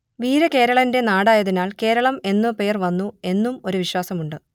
വീരകേരളന്റെ നാടായതിനാൽ കേരളം എന്ന പേർ വന്നു എന്നും ഒരു വിശ്വാസം ഉണ്ട്